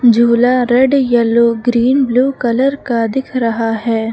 झूला red yellow green blue colour का दिख रहा है।